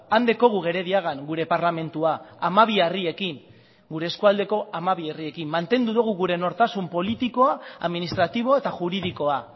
han dekogu gerediagan gure parlamentua hamabi harriekin gure eskualdeko hamabi herriekin mantendu dugu gure nortasun politikoa administratibo eta juridikoa